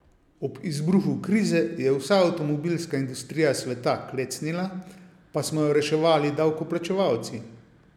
Ob izbruhu krize je vsa avtomobilska industrija sveta klecnila, pa smo jo reševali davkoplačevalci.